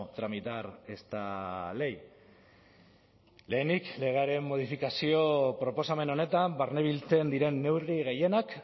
tramitar esta ley lehenik legearen modifikazio proposamen honetan barnebiltzen diren neurri gehienak